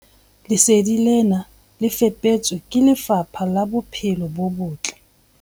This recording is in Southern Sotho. Lesedi lena le fepetswe ke Lefapha la Bophelo bo Botle.